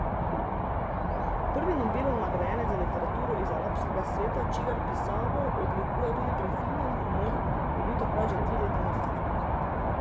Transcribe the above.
Prvi Nobelov nagrajenec za literaturo iz arabskega sveta, čigar pisavo odlikuje tudi prefinjen humor, je bil takrat že tri leta mrtev.